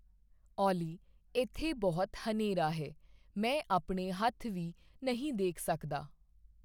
ਓਲੀ ਇੱਥੇ ਬਹੁਤ ਹਨੇਰਾ ਹੈ ਮੈਂ ਆਪਣੇ ਹੱਥ ਵੀ ਨਹੀਂ ਦੇਖ ਸਕਦਾ